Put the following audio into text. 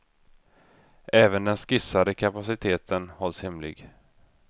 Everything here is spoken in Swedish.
Även den skissade kapaciteten hålls hemlig.